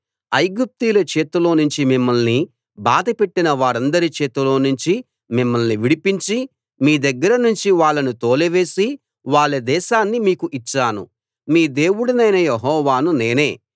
ఐగుప్తీయుల చేతిలో నుంచి మిమ్మల్ని బాధపెట్టిన వారందరి చేతిలో నుంచి మిమ్మల్ని విడిపించి మీ దగ్గర నుంచి వాళ్ళను తోలివేసి వాళ్ళ దేశాన్ని మీకు ఇచ్చాను మీ దేవుడనైన యెహోవాను నేనే